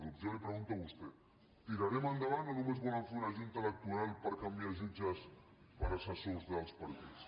jo li ho pregunto a vostè tirarem endavant o només volen fer una junta electoral per canviar jutges per assessors dels partits